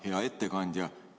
Hea ettekandja!